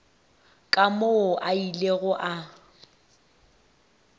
ka moo a ilego a